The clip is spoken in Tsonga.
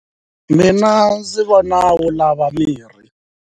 Mina ndzi vona yi lava mirhi.